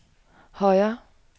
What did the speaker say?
højre